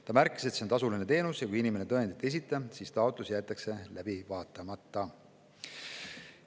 Ta märkis, et see on tasuline teenus ja kui inimene tõendit ei esita, siis taotlus jäetakse läbi vaatamata.